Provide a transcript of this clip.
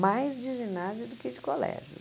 Mais de ginásio do que de colégio.